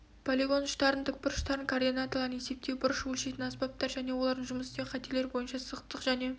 полигон ұштарының тікбұрыштарының координаталарын есептеу бұрыш өлшейтін аспаптар және олармен жұмыс істеу қателер бойынша сызықтық және